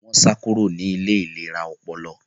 Wọn sá kúrò ní ilé ìlera ọpọlọ